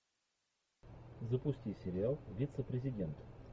запусти сериал вице президент